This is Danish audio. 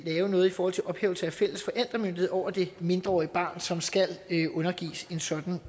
lave noget i forhold til ophævelse af den fælles forældremyndighed over det mindreårige barn som skal undergives en sådan